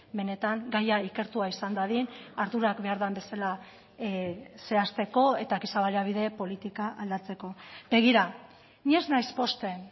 benetan gaia ikertua izan dadin ardurak behar den bezala zehazteko eta giza baliabide politika aldatzeko begira ni ez naiz pozten